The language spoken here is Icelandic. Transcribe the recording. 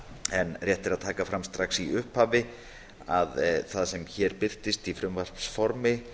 en rétt er að taka fram strax í upphafi að það sem hér í birtist í frumvarpsformi